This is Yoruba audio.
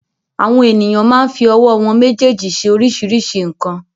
Àwọn ènìyàn máa ń fi ọwọ́ wọn méjèèjì ṣe oríṣiríṣi nǹkan.